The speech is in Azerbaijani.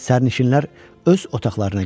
Sərnişinlər öz otaqlarına getdilər.